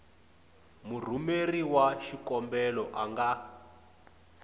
murhumeri wa xikombelo a nga